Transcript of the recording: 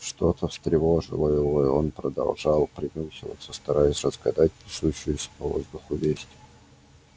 что то встревожило его и он продолжал принюхиваться стараясь разгадать несущуюся по воздуху весть